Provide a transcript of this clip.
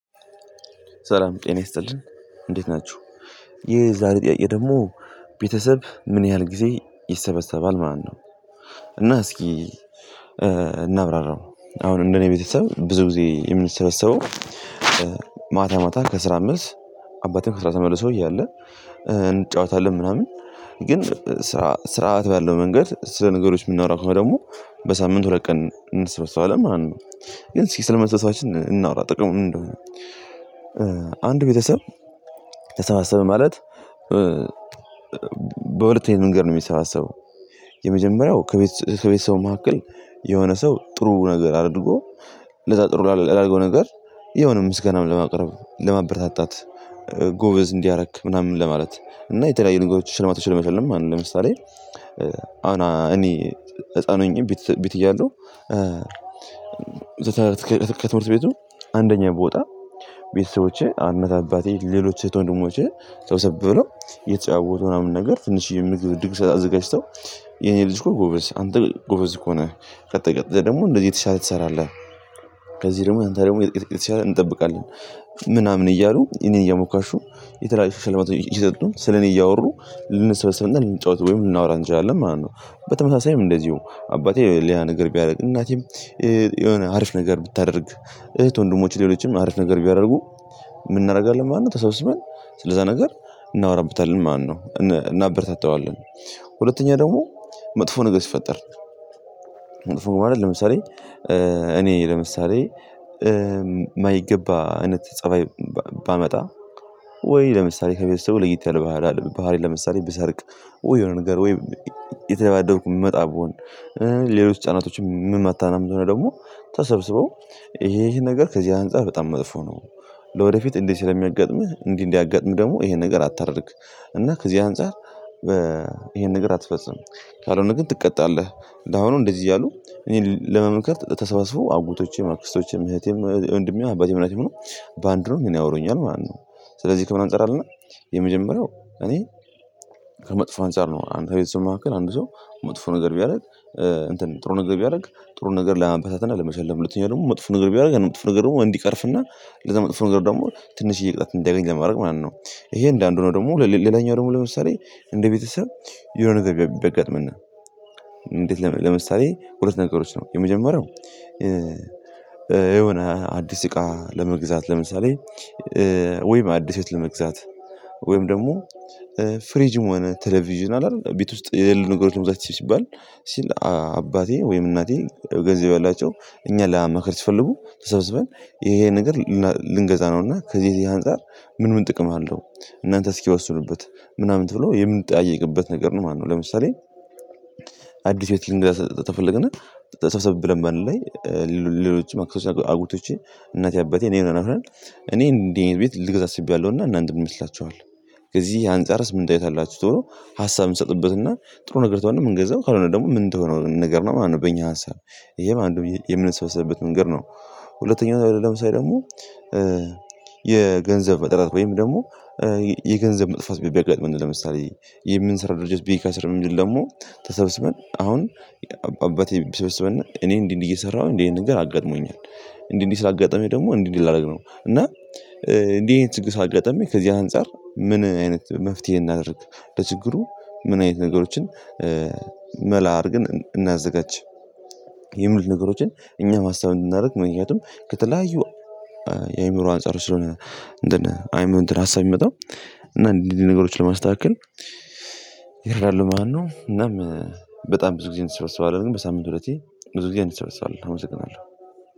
ሰላም ጤና ይስጥልን እንዴት ናችሁ ይህ የዛሬ ጥያቄ ደግሞ ቤተሰብ ምን ያህል ጊዜ ይሰበሰባል ማለት ነው? እና እስኪ እናብራራው አሁን እንደኔ ቤተሰብ ብዙ ጊዜ የምንሰበሰበው ማታ ማታ ከስራ መልስ አባቴ ከስራ ተመልሶ እያለ እንጫወታለን ምናምን ግን ስራ ስርዓት ባለው መንገድ ስለ ነገሮች የምናወራ ከሆነ ደግሞ በሳምንት ሁለት ቀን እንሰበሰባለን ማለት ነው። ግን ስለመሰብሰባችን እናውራ ጥቅሙን ምን እንደሆነ? አንድ ቤተሰብ ተሰባሰብ ማለት በሁለተኛ መንገድ ነው የምንሰባሰው የመጀመሪያው ከቤት ከቤተሰቡ መካከል የሆነ ሰው ጥሩ ነገር አድርጎ ለዛ ጥሩ ላደረገው ነገር የሆነ ምስጋናም ለማቅረብ ለማበረታታት ጎበዝ እንዲ አረክ ምናምን ለማለት እና የተለያዩ ነገሮች ሽልማቶችን ለመሸለም ማለት ነው። ለምሳሌ አሁን እኔ ህፃን ሆኜ ቤት ቤት እያለሁ ከትምህርት ቤቱ አንደኛ ብወጣ ቤተሰቦቼ አንድ አባቴ ሌሎች እህት ወንድሞቼ ሰብሰብ የተጫወቱ ምናምን ነገር ትንሼ ምግብ ድግስ አዘጋጅተን የኔ ልጅ እኮ ጎበዝ አንተ ጎበዝ እኮ ነህ ቀጥለህ ደግሞ እንደዚህ የተሻለ ትሰራለህ። ከዚህ ደግሞ አንተ ደግሞ የተሻለ እንጠብቃለን ምናምን እያሉ እኔን እያሞካሹ የተለያዩ ሽልማቶች እየሰጡ ስለኔ እያወሩ ልንሰበሰብና ልንጫወት ወይም ልናወራ እንችላለን ማለት ነው። በተመሳሳይም እንደዚሁ አባቴ ሌላ ነገር ቢያደርግ እናቴም የሆነ አርፍ ነገር ብታደርግ እህት ወንድሞች ሌሎችም አሪፍ ነገር ቢያደርጉ እናደርጋለን ማለት ነው ተሰብስበን ስለዛ ነገር እናወራብታለን ማለት ነው። እናበረታታዋለን ሁለተኛ ደግሞ መጥፎ ነገር ሲፈጠር መጥፎ ነው ማለት ለምሳሌ እኔ ለምሳሌ እማይገባ አይነት ፀባይ ባመጣ ወይ ለምሳሌ ከቤተሰቡ ለየት ያለ ባህሪ ለምሳሌ ብሰርቅ ወይ የሆነ ነገር ወይ እየተደባደብኩ የምመጣ ብሆን ሌሎች ህፃናቶችም ምማታ ቢሆን ነው ደግሞ ተሰብስበው ይሄ ይሄን ነገር ከዚህ አንፃር በጣም መጥፎ ነው። ለወደፊት እንዲህ ስለሚያጋጥምህ እንዲህ እንዲያጋጥምህ ደግሞ ይሄን ነገር አታድርግ እና ከዚህ አንፃር ይሄን ነገር አትፈጽም። ካልሆነ ግን ትቀጣለህ እንደዚህ እያሉ እኔን ለመመከት ተሰባስበው አጎቶቼ ማክስቶቼም እህቴም ወንሜም አባቴም እናቴም ሆነው በአንድ ሆነው ያወሩኛል ማለት ነው። ስለዚህ ከምን አንፃር አልን የመጀመሪያው እኔ ከመጥፎ አንፃር ነው አንድ ቤተሰብ መካከል አንድ ሰው መጥፎ ነገር ቢያደርግ ጥሩ ነገር ቢያደርግ ጥሩ ነገር ለማበረታታት እና ለመሸለም ሁተኛው ደግሞ መጥፎ ነገር ቢያደርግ ያን መጥፎ ነገር ደግሞ እንዲቀርፍና ለዛ መጥፎ ነገር ደግሞ ትንሼ ቅጣት እንዲያገኝ ለማድረግ ማለት ነው። ይሄ አንዱ ሆኖ ደግሞ ሌላኛው ደግሞ ለምሳሌ እንደ ቤተሰብ የሆነ ነገር ቢያጋጥመን እንዴት ለምሳሌ ሁለት ነገሮች ነው የመጀመሪያው የሆነ አዲስ እቃ ለመግዛት ለምሳሌ ወይም አዲስ ህይወት ለመግዛት ወይም ደግሞ ፍሪጅም ሆነ ቴሌቪዥን አለ አደል ቤት ውስጥ የሌሉ ነገሮች ለመግዛት ሲባል ሲል አባቴ ወይም እናቴ ገንዘብ ያላቸው እኛ ለማማከር ሲፈልጉ ተሰብስበን ይሄ ነገር ልንገዛ ነውና ከዚህ ከዝህ አንፃር ምን ምን ጥቅም አለው? እናንተ እስኪወስዱበት ምናምን ትብሎ የምንጠያየቅበት ነገር ነው ማለት ነው። ለምሳሌ አዲስ ሂወት ላይ ልንገዛ ተፈለገና ተሰብሰቡ ብለን በአንድ ላይ ሌሎች አክሰሶች እናቴ አባቴ እኔ እንዲህ አይነት ቤት ልገዛ አስቤያለሁና እናንተ ምን ይመስላችኋል? ከዚህ አንጻርስ ምን አስተያየት አላችሁ? ሶ ሀሳብ ስጡበትና ጥሩ ነገር ከሆነው የምንገዛው ካልሆነ ደግሞ ምን እንደሆነ ነገር ነው ማለት ነው። በእኛ ሀሳብ ይሄም አንዱ የምንሰበሰብበት መንገድ ነው። ሁለተኛው ምሳሌ ደግሞ የገንዘብ እጥረት ወይም ደግሞ የገንዘብ መጥፋት ቢያጋጥመን ለምሳሌ የምንሰራው ድርጅት ቢከስር የሚልል ደግሞ ተሰብስበን አሁን አባቴ ቢሰብስበን እኔ እንዲህ እንዲህ እየሰራሁኝ እንዲህ ይሄን ነገር አጋጥሞኛል እንዲህ እንዲህ ስላጋጠመኝ ደግሞ እንዲህ እንዲህ ላደርግ ነው እና እንዲህ ይሄን ችግር ስላጋጠመኝ ከዚህ አንፃር ምን አይነት መፍትሄ እናድርግ? ለችግሩ ምን አይነት ነገሮችን መላ አድርገን እናዘጋጅ? የሚሉ ነገሮችን እኛ ማሰብ እንድናደርግ ምክንያቱም ከተለያዩ የአእምሮ አንፃር ስለሆነ ነው እንደነ አይምሮ ሀሳብ የሚመጣው እና እንዲህ ነገሮችን ለማስተካከል ይላሉ ማለት ነው። እናም በጣም ብዙ ጊዜ እንሰበሰባለንን በሳምንት ሁለቴ ብዙ ጊዜ እንሰበሰባለን። አመሰግናለሁ